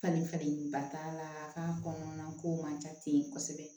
Falenfalenba t'a la k'a kɔnɔna ko man ca ten kosɛbɛ